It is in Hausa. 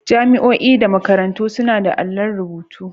Jami'o'i da makarantu suna da allon rubutu.